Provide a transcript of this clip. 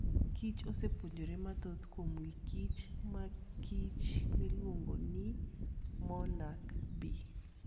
kich osepuonjore mathoth kuom wachkich markich miluongo ni monarch bee.